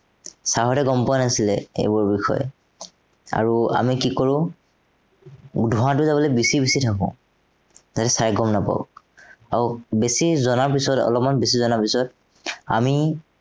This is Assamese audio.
sir হঁতে গম পোৱা নাছিলে এইবোৰ বিষয়ে। আৰু আমি কি কৰো, ধোঁৱাটো যাবলে বিচি বিচি থাকো। যাতে sir এ গম নাপাব। আৰু বেচি জনাৰ পিছত অলপমান বেছি জনাৰ পিছত, আমি